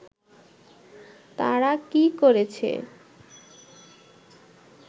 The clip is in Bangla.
তাঁরা কি করছে